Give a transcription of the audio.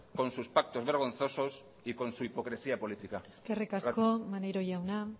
con sus pactos vergonzosos y con su hipocresía política gracias eskerrik asko maneiro jauna